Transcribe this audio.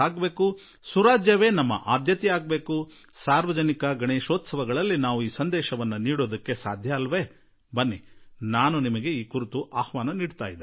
ಈ ಮಂತ್ರವನ್ನಿಟ್ಟುಕೊಂಡು ನಾವು ಸಾರ್ವಜನಿಕ ಗಣೇಶೋತ್ಸವದ ಸಂದೇಶ ನೀಡಲಾರೆವೇ ಬನ್ನಿ ಈ ನಿಟ್ಟಿನಲ್ಲಿ ನಾನು ನಿಮಗೆ ಆಮಂತ್ರಣ ನೀಡುವೆ